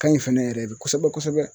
Ka ɲi fɛnɛ yɛrɛ de kosɛbɛ kosɛbɛ.